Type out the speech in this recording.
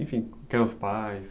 Enfim, quem eram os pais?